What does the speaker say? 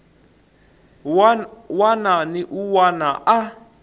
wana ni un wana a